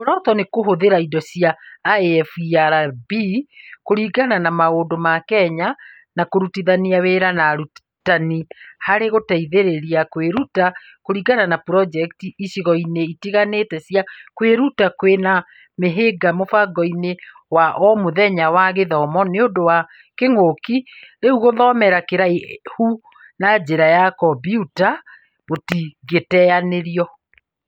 Muoroto nĩ kũhũthĩra indo cia IFERB kũringana na maũndũ ma Kenya na kũrutithania wĩra na arutani harĩ gũteithĩrĩria kwĩruta kũringana na projeti icigo-inĩ itiganĩte cia kwĩruta, kwĩna mĩhĩnga mũbangoinĩ wa omũthenya wa gĩthomo nĩũndũ wa kĩng'uki, rĩu gũthomera kũraihu na njĩra ya kombiuta gũtingĩteyanĩrio